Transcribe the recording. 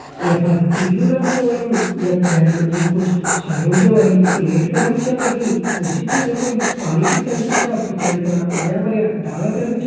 ये फर पीलू रंग छो होयुं यख भैर मा जी कुछ सोर ऊर्जा वाली प्लेट कर भी छन लगीं कुर्सी छिन यख फणी पाणी की टंकी छ पिछाड़ी फणा हरयां भर्यां डाला कर भी छन।